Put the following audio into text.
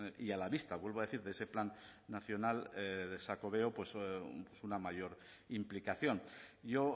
y a la vista vuelvo a decir de ese plan nacional de xacobeo una mayor implicación yo